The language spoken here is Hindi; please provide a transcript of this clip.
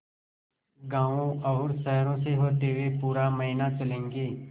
गाँवों और शहरों से होते हुए पूरा महीना चलेंगे